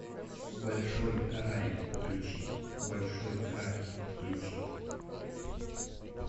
большой рай включи большой рай включи